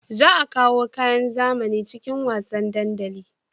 Za a kawo kayan zamani cikin wasan dandali